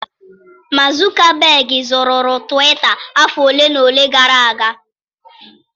Mark Zuckerberg zụụrụ Twita afọ ole na ole gara aga.